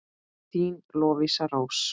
Þín Lovísa Rós.